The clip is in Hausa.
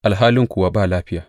alhali kuwa ba lafiya.